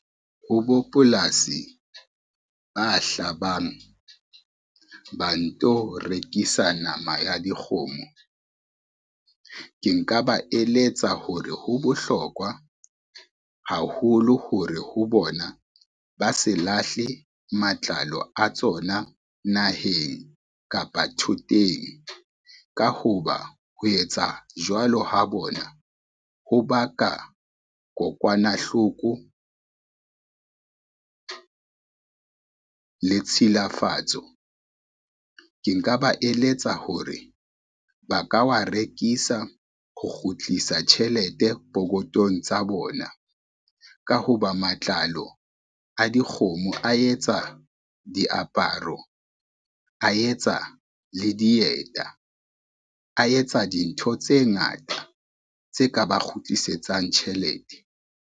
Ho bo polasi ba hlabang, ba nto rekisa nama ya dikgomo. Ke nka ba eletsa hore ho bohlokwa haholo hore ho bona ba se lahle matlalo a tsona naheng kapa thoteng, ka ho ba ho etsa jwalo ha bona ho baka kokwanahloko le tshilafatso. Ke nka ba eletsa hore ba ka wa rekisa ho kgutlisa tjhelete pokotong tsa bona, ka ho ba matlalo a dikgomo a etsa diaparo, a etsa le dieta, a etsa dintho tse ngata tse ka ba kgutlisetsang tjhelete.